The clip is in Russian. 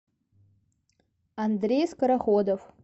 андрей скороходов